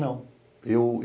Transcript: Não. Eu